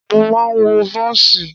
Mo máa wọ bọ́ọ̀sì.